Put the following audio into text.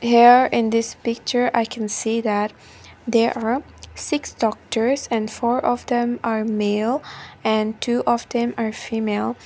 there in this picture i can see that there are six doctors and four of them are male and two of them are female.